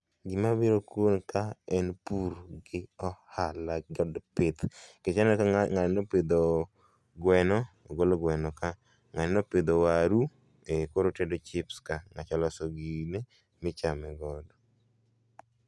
Gima biro kuom ka en pur gi ohala kod pith. Nikech ineno kaka ng'ani nopidho gweno, ogolo gweno ka, ng'ani nopidho waru, koro otedo chips ka ng'acha oloso gine michame godo